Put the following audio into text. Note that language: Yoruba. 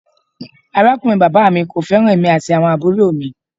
Arakunrin baba mi ko feran emi ati awon aburo mi.